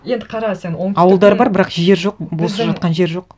енді қара сен оңтүстікте ауылдар бар бірақ жер жоқ бос жатқан жер жоқ